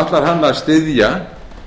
ætlar hann að styðja